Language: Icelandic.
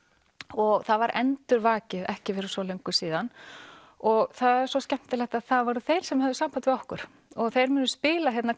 og það var endurvakið ekki fyrir svo löngu síðan og það er svo skemmtilegt að það voru þeir sem höfðu samband við okkur og þeir munu spila hérna